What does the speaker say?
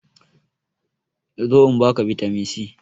Zo in ba ka bitamin c!